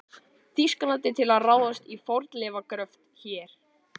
Þýskalandi til að ráðast í fornleifagröft hér.